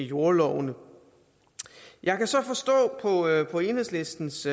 jordlovene jeg kan så forstå på enhedslistens